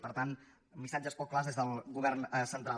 per tant missatges poc clars des del govern central